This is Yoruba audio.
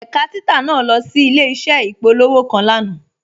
Ẹ̀kà títà naà lọ sí ilẹ̀-iṣẹ̀ ìpòlọ̀wọ́̀ kan lánà.